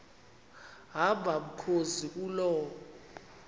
hamba mkhozi kuloo